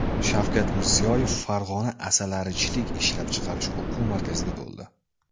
Shavkat Mirziyoyev Farg‘ona asalarichilik ishlab chiqarish o‘quv markazida bo‘ldi.